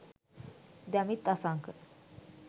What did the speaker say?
damith asanka